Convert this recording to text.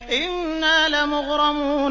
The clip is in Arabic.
إِنَّا لَمُغْرَمُونَ